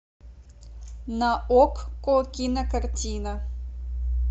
на окко кинокартина